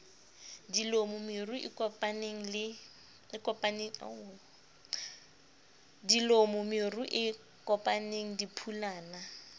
dilomo meru e kopaneng diphulana